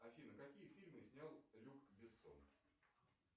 афина какие фильмы снял люк бессон